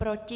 Proti?